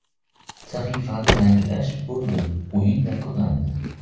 Sahifani yangilash Bo‘ldi o‘yin yakunlandi.